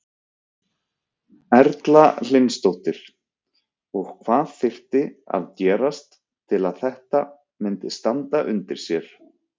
Erla Hlynsdóttir: Og hvað þyrfti að gerast til að þetta myndi standa undir sér?